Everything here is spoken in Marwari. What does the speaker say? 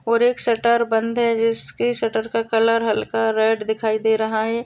और एक शटर बंद है जिसके शटर का कलर हल्का रेड दिखाई दे रहा है।